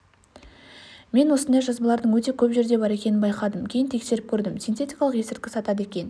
мен осындай жазбалардың өте көп жерде бар екенін байқадым кейін тексеріп көрдім синтетикалық есірткі сатады екен